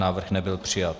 Návrh nebyl přijat.